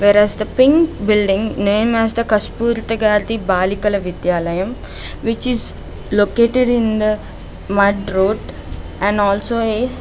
There is the pink building name as kastpurth gathi balikala vidyalaya which is located in the mud road and also a --